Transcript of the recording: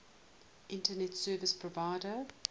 internet service provider